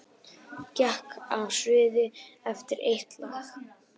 Gekk af sviði eftir eitt lag